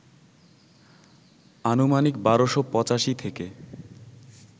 আনুমানিক ১২৮৫ থেকে